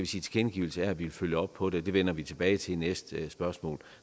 tilkendegivelse af at ville følge op på det det vender vi tilbage til i næste spørgsmål